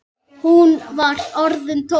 Hún var orðin tólf!